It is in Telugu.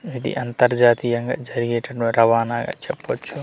ఇది అంతర్జాతీయంగా జరిగేటువంటి రవాణా అ చెప్పొచ్చు.